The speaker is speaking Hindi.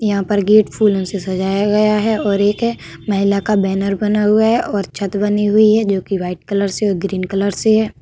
यहाँ पर गेट फूलों से सजाया गया है और एक महिला का बैनर बना हुआ है और छत बनी हुई है जोकि व्हाइट कलर से ग्रीन कलर से हैं।